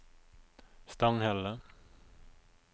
Stanghelle